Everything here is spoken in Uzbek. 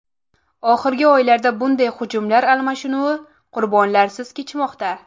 Oxirgi oylarda bunday hujumlar almashinuvi qurbonlarsiz kechmoqda.